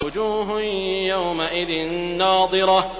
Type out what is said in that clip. وُجُوهٌ يَوْمَئِذٍ نَّاضِرَةٌ